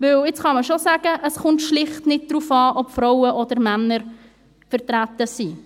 Denn jetzt kann man schon sagen, es komme schlicht nicht darauf an, ob Frauen oder Männer vertreten sind.